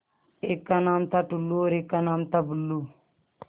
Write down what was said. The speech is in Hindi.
एक का नाम था टुल्लु और एक का नाम था बुल्लु